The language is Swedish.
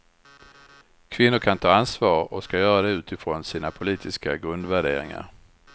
Kvinnor kan ta ansvar och ska göra det utifrån sina politiska grundvärderingar.